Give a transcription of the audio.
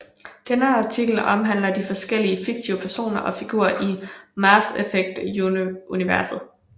Denne artikel omhandler de forskellige fiktive personer og figurer i Mass effect universet